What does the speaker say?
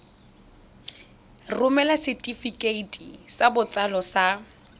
romela setefikeiti sa botsalo sa